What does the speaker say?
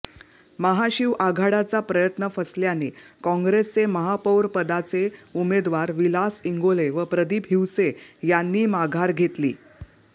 महाशिवआघाडाचा प्रयत्न फसल्याने काँग्रेसचे महापौरपदाचे उमेदवार विलास इंगोले व प्रदीप हिवसे यांनी माघार घेतली